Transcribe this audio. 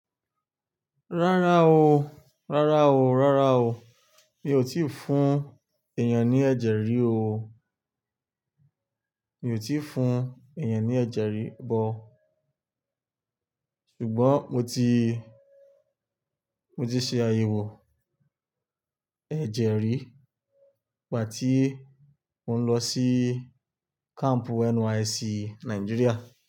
Rárá o, rárá o, rárá o. Mi ò tíì fún èèyàn ní ẹ̀jẹ̀rí o. Mi ò tíì fún èèyàn ní ẹ̀jẹ̀rí o, ṣùgbọ́n mo ti, mo ti ṣe àyẹ̀wò ẹ̀jẹ̀rí nígbà tí mò ń lọ sí kampu NYSC Nàìjíríà.